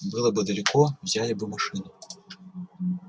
было бы далеко взяли бы машину